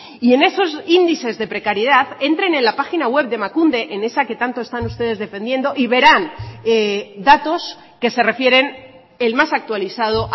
y en esos índices de precariedad entren en la página web de emakunde en esa que tanto están ustedes defendiendo y verán datos que se refieren el más actualizado